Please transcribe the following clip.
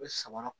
U bɛ samara